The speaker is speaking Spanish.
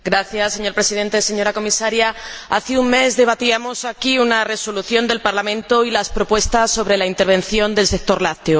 Señor Presidente, señora Comisaria, hace un mes debatíamos aquí una resolución del Parlamento y las propuestas sobre la intervención del sector lácteo.